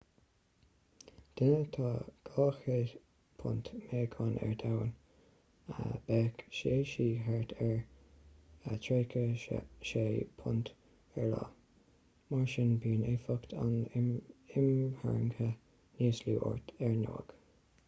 duine atá 200 punt 90kg meáchain ar domhan bheadh sé/sí thart ar 36 punt 16kg ar io. mar sin bíonn éifeacht an imtharraingthe níos lú ort ar ndóigh